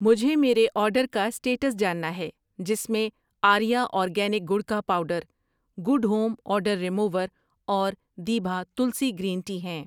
مجھے میرے آرڈر کا اسٹیٹس جاننا ہے جس میں آریہ اورگینک گڑ کا powder, good home odour remover اور دیبھا تلسی گرین ٹی ہیں۔